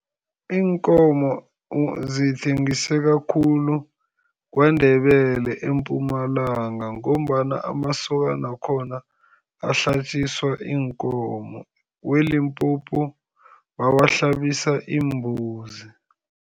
Iinkomo zithengiseka khulu KwaNdebele eMpumalanga, ngombana amasokana wakhona ahlatjiswa iinkomo. WeLimpopo, bawahlabisa iimbuzi.